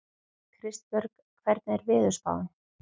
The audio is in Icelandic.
Kristbjörg, hvernig er veðurspáin?